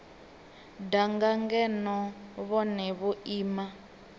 danga ngeno vhone vho ima